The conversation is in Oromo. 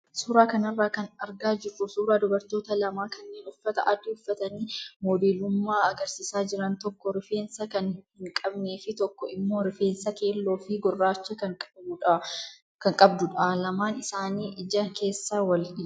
Suuraa kanarraa kan argaa jirru suuraa dubartoota lamaa kanneen uffata adii uffatanii modeelummaa agarsiisaa jiran tokko rifeensa kan hin qabnee fi tokko immoo refeensa keelloo fi gurraacha kan qabdudha. Lamaan isaanii ija keessa wal ilaalu.